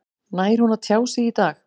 Nær hún að tjá sig í dag?